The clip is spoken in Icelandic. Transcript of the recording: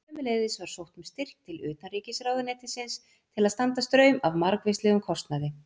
Sömuleiðis var sótt um styrk til utanríkisráðuneytisins til að standa straum af margvíslegum kostnaði.